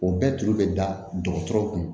O bɛɛ tulu bɛ da dɔgɔtɔrɔw kun